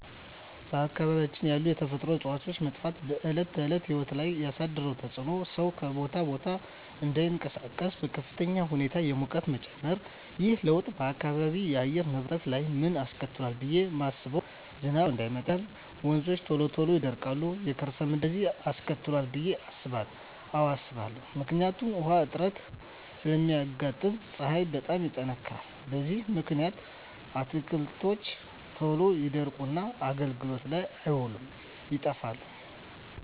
በአካባቢያችን ያሉ የተፈጥሮ እፅዋት መጥፋት በዕለት ተዕለት ሕይወት ላይ ያሣደረው ተፅኖ ሠው ከቦታ ቦታ እዳይንቀሣቀስ፤ በከፍተኛ ሁኔታ የሙቀት መጨመር። ይህ ለውጥ በአካባቢው የአየር ንብረት ላይ ምን አስከትሏል ብየ ማስበው። ዝናብ ወቅቱን ጠብቆ እዳይመጣ ያደርጋል፤ ወንዞች ቶሎ ይደርቃሉ፤ የከርሠ ምድር ውሀ መቀነስ፤ እነዚን አስከትሏል ብየ አስባለሁ። አዎ አስባለሁ። ምክንያቱም ውሀ እጥረት ስለሚያጋጥም፤ ፀሀይ በጣም ይጠነክራል። በዚህ ምክንያት አትክልቶች ቶሎ ይደርቁና አገልግሎት ላይ አይውሉም ይጠፋሉ።